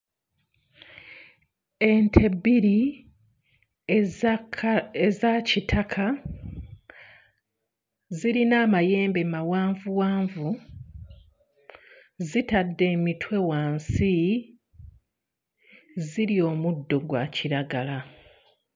Ente bbiri eza ka... eza kitaka zirina amayembe mawanvuwanvu, zitadde emitwe wansi, zirya omuddo gwa kiragala.